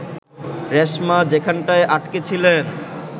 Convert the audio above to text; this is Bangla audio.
রেশমা যেখানটায় আটকে ছিলেন